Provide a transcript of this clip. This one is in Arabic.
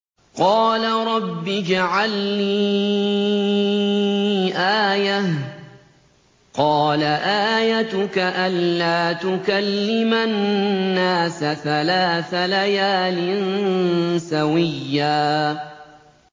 قَالَ رَبِّ اجْعَل لِّي آيَةً ۚ قَالَ آيَتُكَ أَلَّا تُكَلِّمَ النَّاسَ ثَلَاثَ لَيَالٍ سَوِيًّا